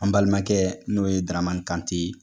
An balimakɛ n'o ye daramani kante ye